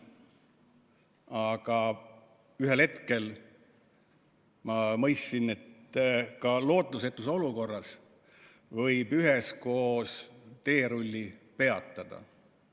Aga ühel hetkel ma mõistsin, et ka lootusetus olukorras võib üheskoos teerulli peatada.